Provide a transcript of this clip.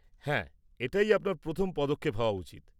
-হ্যাঁ এটাই আপনার প্রথম পদক্ষেপ হওয়া উচিত।